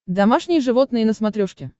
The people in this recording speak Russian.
домашние животные на смотрешке